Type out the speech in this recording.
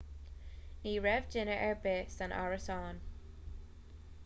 ní raibh duine ar bith san árasán